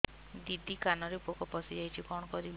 ଦିଦି କାନରେ ପୋକ ପଶିଯାଇଛି କଣ କରିଵି